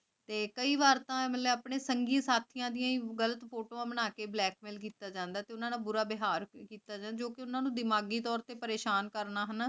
ਤੇ ਕਈ ਵਾਰ ਤਾਂ ਮੈਂ ਆਪਣੇ ਸੰਗੀ-ਸਾਥੀਆਂ ਦੀਆਂ ਗਲਤ ਫੋਟੋਆਂ ਬਣਾਕੇ ਬਲੈਕਮੇਲ ਕੀਤਾ ਜਾਂਦਾ ਕਿ ਉਨ੍ਹਾਂ ਨਾਲ ਬੁਰਾ ਵੇਹਰ ਕੀਤਾ ਜਾਂਦਾ ਆਯ ਜੋ ਕੇ ਓਨਾਂ ਨੂ ਦਿਮਾਗੀ ਤੋਰ ਤੇ ਪਰੇਸ਼ਾਨ